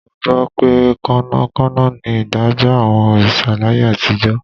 Mo gbọ́ pé kánmọ́kánmọ́ ni ìdájọ́ àwọn òrìṣà láyé àtijọ́